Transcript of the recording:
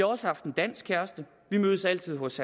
også haft en dansk kæreste vi mødtes altid hos